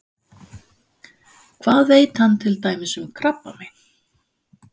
Hvað veit hann til dæmis um krabbamein?